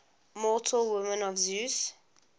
mortal women of zeus